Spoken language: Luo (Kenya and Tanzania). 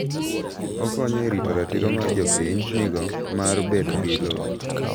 Okonyo e rito ratiro ma jopiny nigo mar bedo gi lowo.